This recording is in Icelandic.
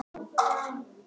Og ekki er allt talið.